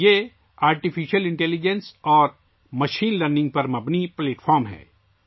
یہ مصنوعی ذہانت اور مشین لرننگ پر مبنی ایک پلیٹ فارم ہے